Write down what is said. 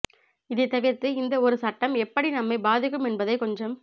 இதை தவிர்த்து இந்த ஒரு சட்டம் எப்படி நம்மை பாதிக்கும் என்பதை கொஞ்சம்